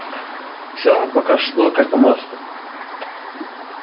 все пока шло как по маслу